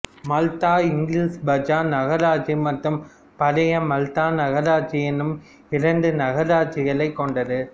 மால்தா இங்கிலீஷ் பஜார் நகராட்சி மற்றும் பழைய மால்தா நகராட்சி எனும் இரண்டு நகராட்சிகளைக் கொண்டது